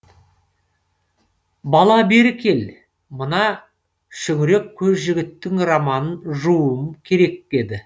бала бері кел мына шүңірек көз жігіттің романын жууым керек еді